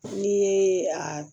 N'i ye a